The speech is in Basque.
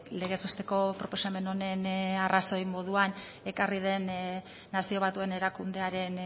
legez besteko proposamen honen arrazoi moduan ekarri den nazio batuen erakundearen